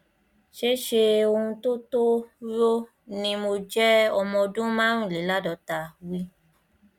ṣé ṣé ohun tó tó rò ni mo jẹ ọmọ ọdún márùnléláàádọta wt